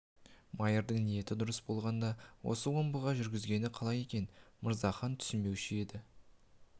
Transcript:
майырдың ниеті дұрыс болғанда осы омбыға жүргізгені қалай екенін мырзахан түсінбеуші еді